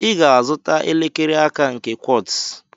I ga-azụta elekere aka nke Quartz.